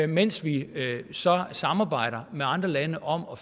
mens vi så samarbejder med andre lande om at